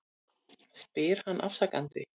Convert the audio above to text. spyr hann afsakandi.